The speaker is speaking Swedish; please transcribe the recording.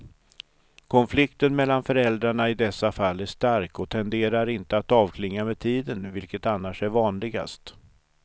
Konflikten mellan föräldrarna i dessa fall är stark och tenderar inte att avklinga med tiden, vilket annars är vanligast.